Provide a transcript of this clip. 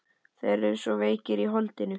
Þeir eru svo veikir í holdinu.